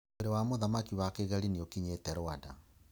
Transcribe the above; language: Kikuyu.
Mwĩrĩ wa Mũthamaki wa Kigeli niakinyete Rwanda